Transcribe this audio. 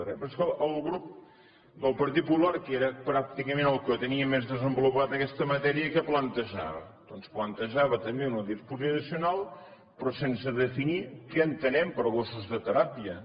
però és que el grup del partit popular que era pràcticament el que tenia més desenvolupada aquesta matèria què plantejava doncs plantejava també una disposició addicional però sense definir què entenem per gossos de teràpia